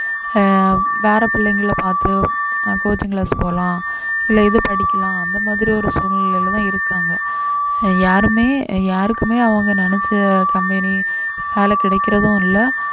ஆஹ் வேற பிள்ளைங்களை பார்த்து அஹ் coaching class போலாம் இல்லை இது படிக்கலாம் அந்த மாதிரி ஒரு சூழ்நிலையிலேதான் இருக்காங்க யாருமே யாருக்குமே அவங்க நினைச்ச company வேலை கிடக்கிறதும் இல்லை